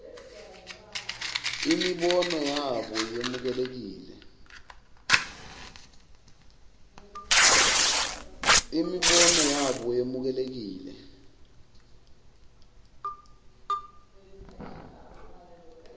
imibono yabo yemukelekile